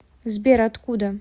сбер откуда